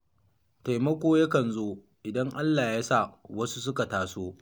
Taimako yakan zo, idan Allah ya sa wasu suka taso.